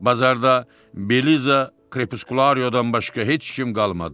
Bazarda Beliza Krepuskulariodan başqa heç kim qalmadı.